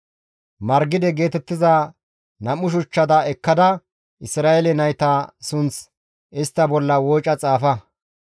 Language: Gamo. «Margide geetettiza nam7u shuchchata ekkada Isra7eele nayta sunth istta bolla wooca xaafa.